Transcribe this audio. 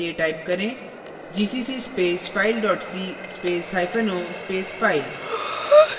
gcc space file dot c space hyphen o space file